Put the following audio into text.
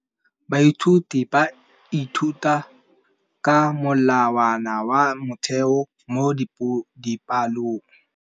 Baithuti ba ithuta ka molawana wa motheo mo dipalong.